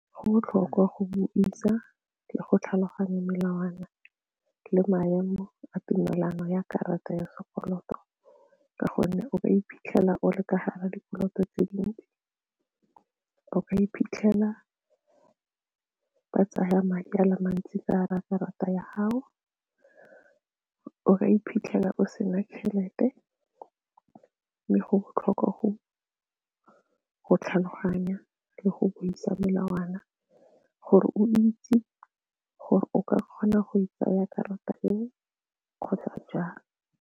Go botlhokwa go bo isa le go tlhaloganya melawana le maemo a tumelano ya karata ya sekoloto ka gonne o ka iphitlhela o le ka gare ga dikoloto tse dintsi, o ka iphitlhela ba tsaya madi a le mantsi ka gare ga karata ya gago, o ka iphitlhela o sena tšhelete mme go botlhokwa go tlhaloganya le go buisa melawana gore o itse gore o ka kgona go e tsaya karata eo kgotsa jang.